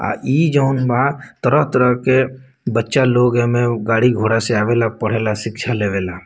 आ इ जउन बा तरह-तरह के बच्चा लोग ए में गाड़ी घोड़ा से आवेला पढ़ेला शिक्षा लेवे ला।